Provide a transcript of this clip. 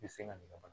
I bɛ se ka ɲinɛ wa